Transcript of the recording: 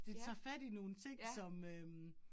Det tager fat i nogle ting som øh